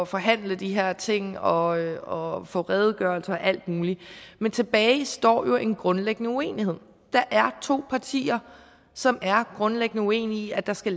forhandle de her ting og få redegørelser og alt muligt men tilbage står jo en grundlæggende uenighed der er to partier som er grundlæggende uenige i at der skal